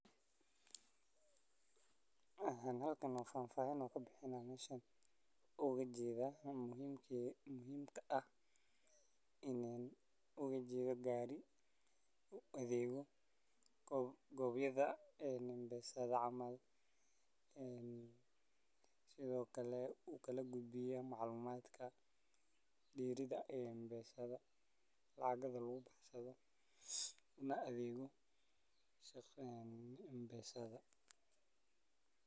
Halkan oo aan faahfaahin ka bixinayo, meeshaan ee gaarigu u jeedaa waa mid u adeega goobaha M-Pesa-da camal ah. Waa meel ay dadku uga faa’iideystaan adeegyada lacag dirista iyo qaadashada, wax ka beddelka xisaabaadka, iyo mararka qaar xitaa ganacsiyo yaryar oo ku tiirsan M-Pesa. Gaariga laftiisa wuxuu noqon karaa mid adeegga u gudbiya dadka meelaha aan xarumaha waaweyn ka dhoweyn. Waxaa ka muuqda dad ku suga.